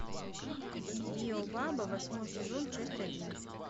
биобаба восьмой сезон часть один